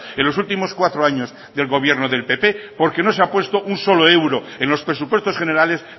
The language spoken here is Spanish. en los últimos cuatro años del gobierno del pp porque no se ha puesto un solo euro en los presupuestos generales